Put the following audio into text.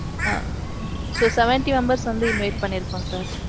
ஆ. so, seventy members, வந்து invite பண்ணீருக்கோம் sir.